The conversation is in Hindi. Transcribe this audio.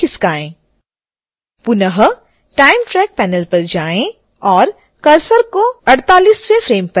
पुनः time track panel पर जाएँ और cursor को 48